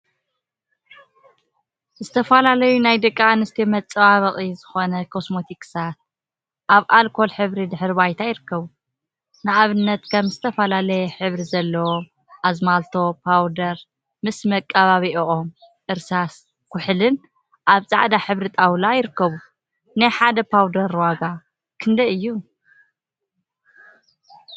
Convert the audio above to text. ዝተፈላለዩ ናይ ደቂ አንስትዮ መፀባበቂ ዝኮኑ ኮስሞቲክሳት አብ አልኮል ሕብሪ ድሕረ ባይታ ይርከቡ፡፡ ንአብነት ከም ዝተፈላለየ ሕብሪ ዘለዎም አዝማለቶ፣ ፓውደር ምስ መቅቢእኦምም እርሳስ ኩሕሊን አብ ፃዕዳ ሕብሪ ጣወላ ይርከቡ፡፡ ናይ ሓደ ፓውደር ዋጋ ክንደይ እዩ?